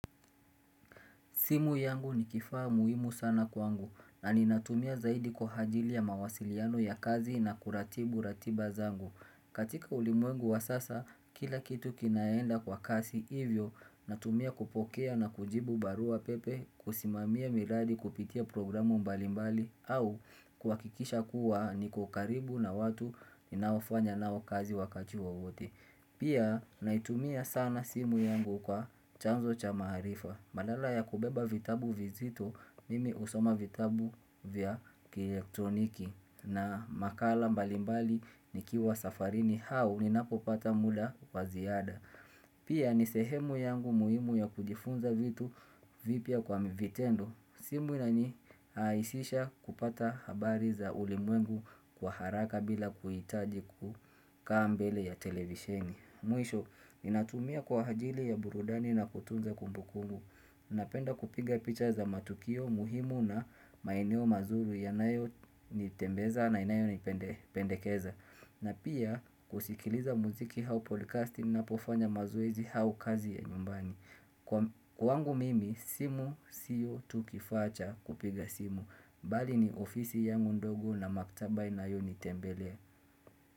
Simu yangu ni kifaa muhimu sana kwangu, na ninatumia zaidi kwa hajili ya mawasiliano ya kazi na kuratibu ratiba zangu. Katika ulimwengu wa sasa, kila kitu kinaenda kwa kasi, ivyo, natumia kupokea na kujibu barua pepe, kusimamia miradi kupitia programu mbalimbali, au kuhakikisha kuwa ni kukaribu na watu ninaofanya nao kazi wakati wowote. Pia naitumia sana simu yangu kwa chanzo cha maarifa badala ya kubeba vitabu vizito mimi usoma vitabu vya elektroniki na makala mbalimbali nikiwa safarini hau ni napopata muda waziada Pia nisehemu yangu muhimu ya kujifunza vitu vipya kwa mvitendo simu nani haisisha kupata habari za ulimwengu kwa haraka bila kuhitaji kukaambele ya televisheni Mwisho, ni natumia kwa hajili ya burudani na kutunza kumbukumbu Napenda kupiga picha za matukio muhimu na maeneo mazuri ya nayo nitembeza na inayo nipendekeza na pia kusikiliza muziki hau podcast ninapofanya mazoezi hau kazi ya nyumbani Kwa wangu mimi simu siyo tu kifaa cha kupiga simu Bali ni ofisi yangu ndogo na maktaba inayo ni tembelea.